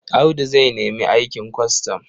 Audu zai nemi aikin kwastam.